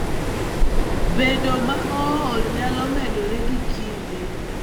Bedo ma ool nyalo medore gi kinde.